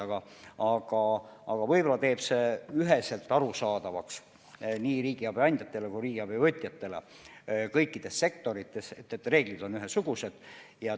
Aga võib-olla teeb selline asja üheselt arusaadavaks nii riigiabi andjatele kui ka riigiabi võtjatele, see, kui kõikides sektorites on reeglid ühesugused.